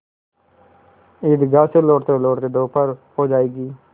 ईदगाह से लौटतेलौटते दोपहर हो जाएगी